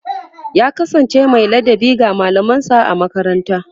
ya kasance Mai ladabi ga mallaman sa a makaranta